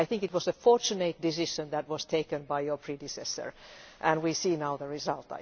I think it was a fortunate decision that was taken by your predecessor, and we see now the result.